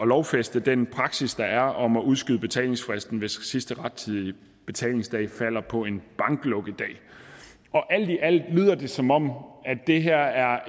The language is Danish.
lovfæste den praksis der er om at udskyde betalingsfristen hvis sidste rettidige betalingsdag falder på en banklukkedag alt i alt lyder det som om det her er